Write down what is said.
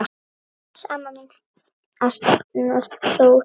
Bless, amma mín, Arnar Þór.